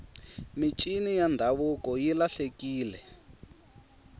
mincini ya ndhavuko yi lahlekile